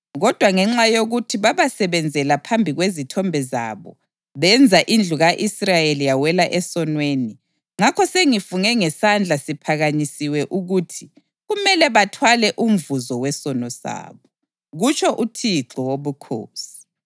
Kodwa ngenxa yokuthi babasebenzela phambi kwezithombe zabo benza indlu ka-Israyeli yawela esonweni, ngakho sengifunge ngesandla siphakanyisiwe ukuthi kumele bathwale umvuzo wesono sabo, kutsho uThixo Wobukhosi.